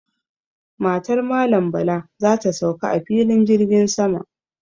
Matar Malam Bala za ta sauka a filin jirgin sama.